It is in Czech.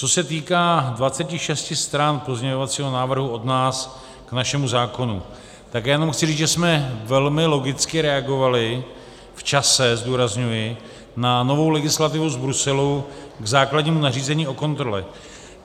Co se týká 26 stran pozměňovacího návrhu od nás k našemu zákonu, tak já jenom chci říct, že jsme velmi logicky reagovali v čase, zdůrazňuji, na novou legislativu z Bruselu k základnímu nařízení o kontrole.